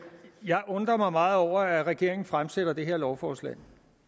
jeg undrer mig meget over at regeringen fremsætter det her lovforslag